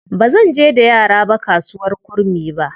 Ba zan je da yara ba kasuwar Kurmi ba.